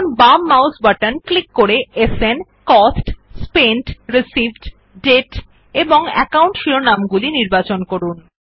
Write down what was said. বাঁদিকে ক্লিক করে সান কস্ট স্পেন্ট রিসিভড দাতে এবং একাউন্ট শিরোনামগুলি নির্বাচন করুন